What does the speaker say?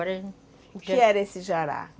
O que era esse jará?